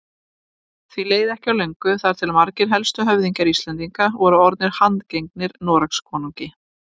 Því leið ekki á löngu þar til margir helstu höfðingjar Íslendinga voru orðnir handgengnir Noregskonungi.